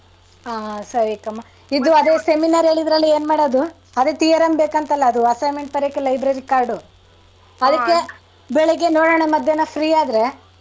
ಹಾ ಸರಿ ಕ್ಕಮ್ಮ. ಇದು ಅದೆ Seminar ಹೇಳಿದ್ರಲ್ಲಾ ಏನ್ಮಾಡದು? ಅದೇ theorem ಬೇಕಂತಲ assignment ಬರಿಯಕ್ಕೆ library card ಉ. ಅದಿಕ್ಕೆ ಬೆಳಿಗ್ಗೆ ನೋಡನ ಮಧ್ಯಾನ free ಆದ್ರೆ.